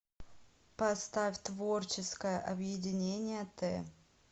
поставь творческое объединение т